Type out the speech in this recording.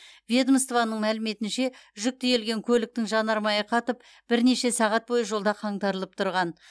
ведомствоның мәліметінше жүк тиелген көліктің жанармайы қатып бірнеше сағат бойы жолда қаңтарылып тұрған